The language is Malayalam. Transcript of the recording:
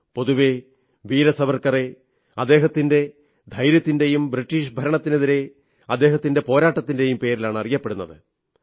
പൊതുവേ വീര സാവർക്കറെ അദ്ദേഹത്തിന്റെ ധൈര്യത്തിന്റെയും ബ്രിട്ടീഷ് ഭരണത്തിനെതിരെ അദ്ദേഹത്തിന്റെ പോരാട്ടത്തിന്റെയും പേരിലാണ് അറിയുന്നത്